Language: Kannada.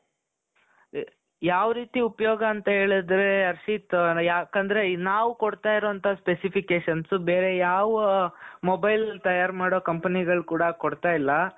ಯಾವ್ ರೀತಿ ಉಪಯೋಗ ಅಂತ ಹೇಳುದ್ರೆ ಹರ್ಷಿತ್ ಯಾಕಂದ್ರೆ ನಾವ್ ಕೊಡ್ತಾ ಇರೋ ಅಂತಹ specifications ಬೇರೆ ಯಾವ mobile ತಯಾರ್ ಮಾಡೋ companyಗಳು ಕೂಡ ಕೊಡ್ತಾ ಇಲ್ಲ .